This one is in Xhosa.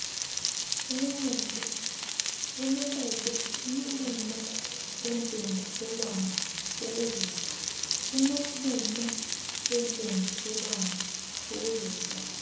enobume bentengiselwano ukuzisa